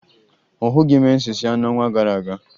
Ọ hụghị menses ya n'ọnwa gara aga